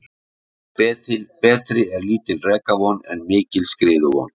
Betri er lítil rekavon en mikil skriðuvon.